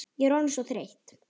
Ég er orðin svo þreytt.